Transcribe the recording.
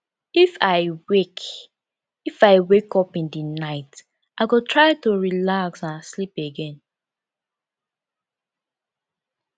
if i wake if i wake up in the night i go try to relax and sleep again